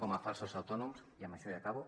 com a falsos autònoms i amb això ja acabo